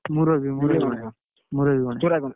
ମୁରବି ମୁରବୀ ଗଣେଶ!